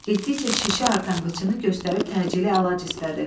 Getdikcə şişi artan qıçını göstərib təcili əlac istədi.